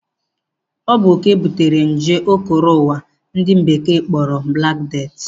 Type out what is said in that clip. Ọ bụ oke butere nje o koro ụwa ndi Bekee kpọrọ Black Death